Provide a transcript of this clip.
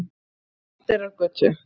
Oddeyrargötu